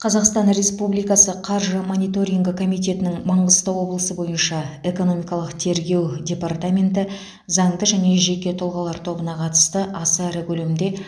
қазақстан республикасы қаржы мониторингі комитетінің маңғыстау облысы бойынша экономикалық тергеу департаменті заңды және жеке тұлғалар тобына қатысты аса ірі көлемде